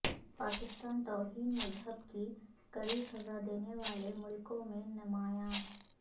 پاکستان توہین مذہب کی کڑی سزا دینے والے ملکوں میں نمایاں